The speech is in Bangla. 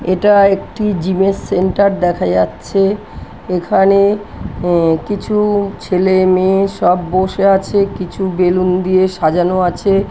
এটা একটি জিমের সেন্টার দেখা যাচ্ছে। এখানে এ কিছু-উ ছেলে মেয়ে সব বসে আছে। কিছু বেলুন দিয়ে সাজানো আছে।